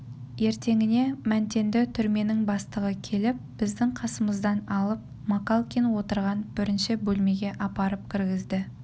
ертеңінде мәнтенді түрменің бастығы келіп біздің қасымыздан алып макалкин отырған бірінші бөлмеге апарып кіргізді